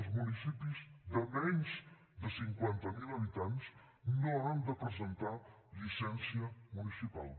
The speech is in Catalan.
els municipis de menys de cinquanta mil habitants no han de presentar llicència municipal